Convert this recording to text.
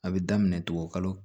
A bɛ daminɛ tugun kalo